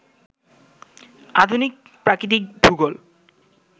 আধুনিক প্রাকৃতিক ভূগোল